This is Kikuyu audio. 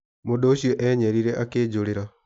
Mũndũ ũcio enyerire akĩnjũrĩra.